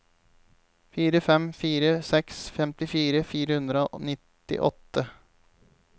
fire fem fire seks femtifire fire hundre og nittiåtte